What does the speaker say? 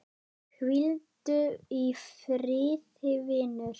Hvíldu í friði vinur.